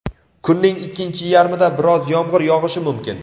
kunning ikkinchi yarmida biroz yomg‘ir yog‘ishi mumkin.